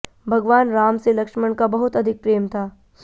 भगवान राम से लक्ष्मण का बहुत अधिक प्रेम था